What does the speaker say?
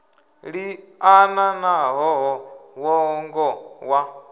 liana na ṱhoho ṅwongo wa